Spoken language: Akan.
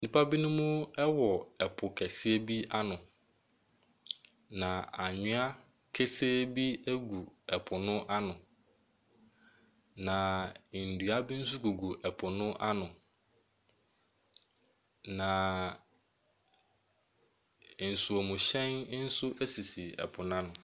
Nnipa binom wɔ po kɛseɛ bi ano, na anwea kesee bi agu po no ano, na nnua bi nso gugu po no ano, na nsuomhyɛn nso sisi po no ano.